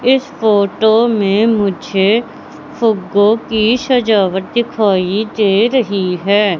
इस फोटो मे मुझे फ़ुग्गो की सजावट दिखाई दे रही है।